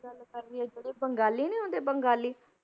ਗੱਲ ਕਰ ਲਈਏ ਜਿਹੜੇ ਬੰਗਾਲੀ ਨੀ ਹੁੰਦੇ ਬੰਗਾਲੀ,